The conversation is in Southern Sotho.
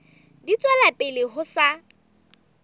di tswela pele ho sa